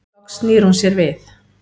Loks snýr hún sér við.